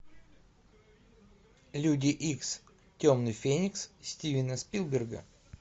люди икс темный феникс стивена спилберга